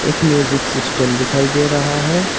एक music system दिखाई दे रहा है।